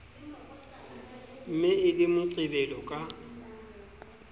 ne e le moqebelo ka